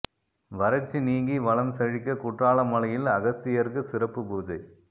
வறட்சி நீங்கி வளம் செழிக்க குற்றால மலையில் அகஸ்தியருக்கு சிறப்பு பூஜை